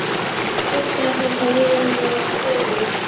Hugsaðu þér hvað við erum að verða gömul.